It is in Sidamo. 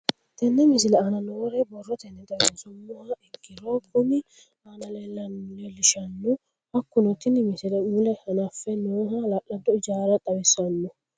Tenne misile aana noore borrotenni xawisummoha ikirro kunni aane noore leelishano. Hakunno tinni misile mule hanafamme nooha hala'laddo ijaara xawissanno.